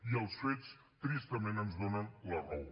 i els fets tristament ens donen la raó